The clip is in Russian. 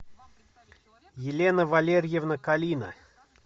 елена валерьевна калина